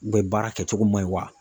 baara kɛ cogo man ɲi wa?